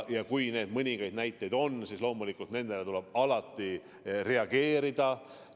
Ja kui neid mõningaid näiteid on, siis loomulikult tuleb nendele alati reageerida.